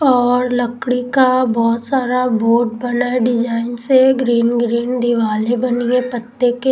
और लकड़ी का बहुत सारा बोट बना है डिजाइन से ग्रीन ग्रीन दिवाली बनी है पत्ते के--